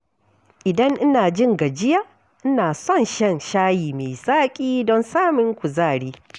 Idan ina jin gajiya, ina son shan shayi mai zaƙi don samun kuzari.